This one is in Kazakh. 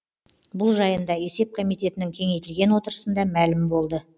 бұл жайында есеп комитетінің кеңейтілген отырысында мәлім болды